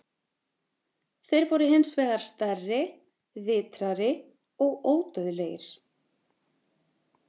Þeir voru hins vegar stærri, vitrari og ódauðlegir.